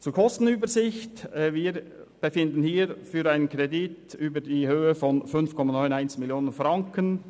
Zur Kostenübersicht: Wir befinden hier über einen Kredit in der Höhe von 5,91 Mio. Franken.